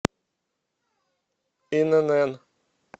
инн